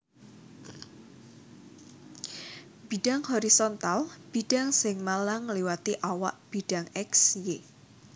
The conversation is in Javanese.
Bidhang horizontal bidhang sing malang ngliwati awak bidhang X Y